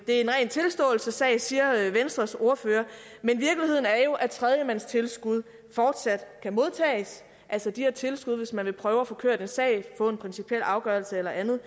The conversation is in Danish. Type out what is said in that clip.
ren tilståelsessag siger venstres ordfører men virkeligheden er jo at tredjemandstilskud fortsat kan modtages altså de her tilskud hvis man vil prøve at få kørt en sag få en principiel afgørelse eller andet